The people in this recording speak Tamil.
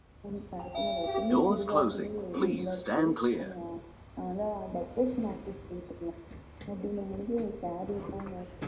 பழக்கம் இல்ல எப்பவுமே chudithar லயே இருந்தாச்சு ஆனா அந்த occasion நாட்களில saree தான்